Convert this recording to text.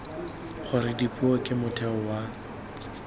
gore dipuo ke motheo wa